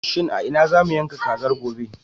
Shin a ina za mu yanka kazar, gobe?